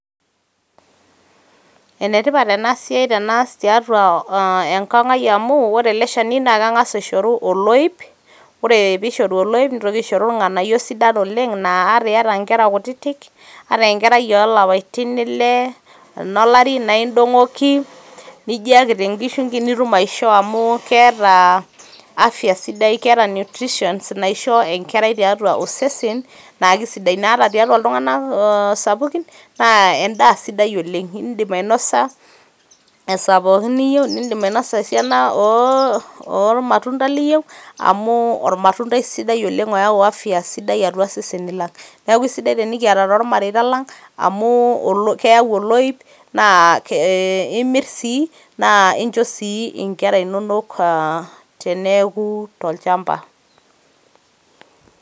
Ene tipat ena siai tenaas tiatua enkang ai amu ore ele shani naa kengas aishoru oloip . ore pishoru oloip ,nitoki aishoru irnganayio sidan naa ata iyata inkera kutitk anaa enkerai olapaitin ile eno lari naa indongoki, nijiaki tenkishungi nitum aishoo amu keeta afya sidai . keeta nutritions naisho enkerai tiatua osesen naa kisidai. naa ata tiatua iltunganak oo sapukin naa endaa sidai oleng ,indim ainosa esaa pookin niyieu ,indim ainosa esina oormatunda liyieu amu ormatundai sidai oleng oyau afya sidai atua iseseni lang. niaku isidai tenikiata tormareita lang amu keyau oloip naa imir sii naa inchoo sii inkera inonok aa teneeku tolchamba .